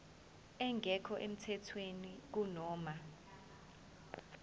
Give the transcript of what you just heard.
engekho emthethweni kunoma